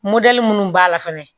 minnu b'a la fɛnɛ